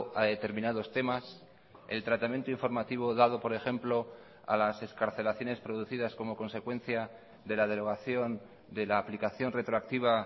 a determinados temas el tratamiento informativo dado por ejemplo a las excarcelaciones producidas como consecuencia de la derogación de la aplicación retroactiva